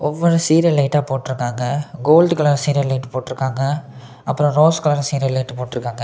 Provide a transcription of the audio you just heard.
Serial லைட்ட போட்ருக்காங்க gold colour serial light போட்ருக்காங்க அப்புறம் ரோஸ் கலர் சீரியல் லைட் போட்ருக்காங்க.